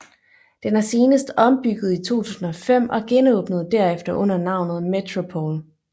Den er senest ombygget i 2005 og genåbnede derefter under navnet Metropol